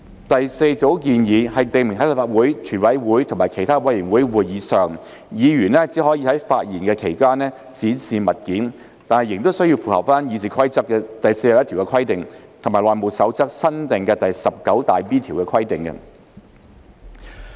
第四組建議，訂明在立法會、全委會或其他委員會會議上，議員只可在發言期間展示物件，但仍須符合《議事規則》第41條及《內務守則》新訂第 19B 條的規定。